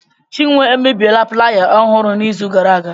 Chinwe emebiela plaaya ọhụrụ n'izu gara aga.